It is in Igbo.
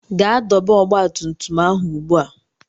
Gaa dọba ọgba tum tum ahụ ugbu a!